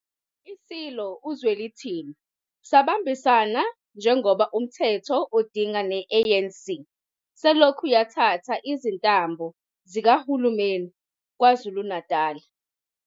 ISilo uZwelithini sabambisana njengoba umthetho udinga ne-ANC selokhu yathatha izintambo zikahulumeni kwaKwaZulu-Natal.